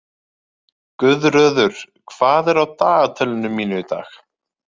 Guðröður, hvað er á dagatalinu mínu í dag?